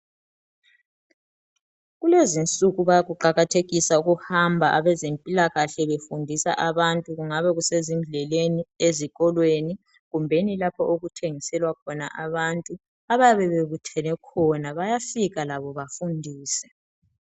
kulezisuku bayakuqakathekisa ukuhamba abezempilakahle befundisa abantu kungaba kusezindleleni ezikolweni kumbeni lapha okuthengisela khona abantu abayabe bebuthene khona bayafika labo bafundise